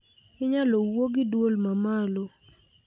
Inyalo wuo gi dwol mamalo